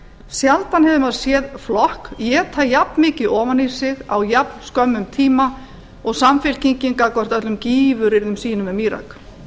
sjaldan hefur maður séð flokk éta jafnmikið ofan í sig á jafnskömmum tíma og samfylkingin gagnvart öllum gífuryrðum mínu um írak